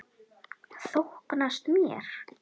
Þóknast mér?